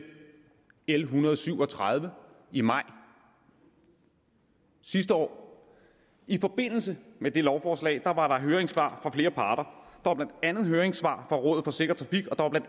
en hundrede og syv og tredive i maj sidste år og i forbindelse med det lovforslag var der høringssvar fra flere parter var blandt andet høringssvar fra rådet for sikker trafik og